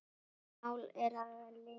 Mál er að linni.